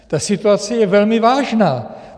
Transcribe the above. Ta situace je velmi vážná.